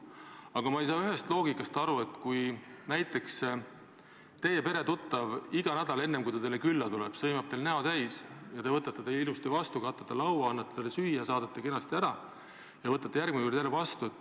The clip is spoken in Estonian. Aga ma ei saa aru sellest loogikast, et näiteks teie peretuttav iga kord enne, kui ta teile külla tuleb, sõimab teil näo täis, kuid te võtate ta ilusasti vastu, katate laua, annate talle süüa, saadate kenasti ära ja võtate järgmine kord jälle vastu.